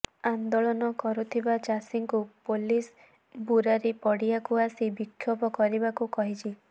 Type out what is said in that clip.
ଆନ୍ଦୋଳନ କରୁଥିବା ଚାଷୀଙ୍କୁ ପୁଲିସ୍ ବୁରାରୀ ପଡ଼ିଆକୁ ଆସି ବିକ୍ଷୋଭ କରିବାକୁ କହିଛି